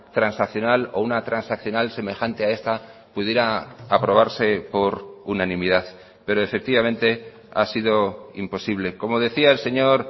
transaccional o una transaccional semejante a esta pudiera aprobarse por unanimidad pero efectivamente ha sido imposible como decía el señor